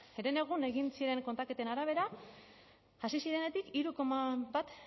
herenegun egin ziren kontaketen arabera hasi zirenetik hiru koma bat